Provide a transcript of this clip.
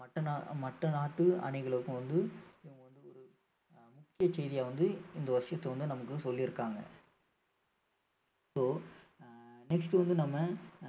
மற்ற நா~மற்ற நாட்டு அணிகளுக்கும் வந்து ஆஹ் முக்கிய செய்தியா வந்து இந்த வந்து நமக்கு சொல்லி இருக்காங்க so அஹ் next வந்து நம்ம